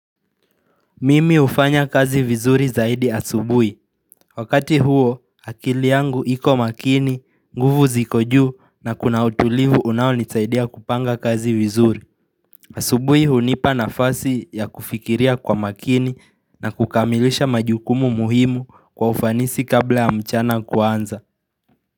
Mimi hufanya kazi vizuri zaidi asubuhi. Wakati huo, akili yangu iko makini, nguvu ziko juu na kuna utulivu unaonisaidia kupanga kazi vizuri. Asubuhi hunipa nafasi ya kufikiria kwa makini na kukamilisha majukumu muhimu kwa ufanisi kabla ya mchana kuanza.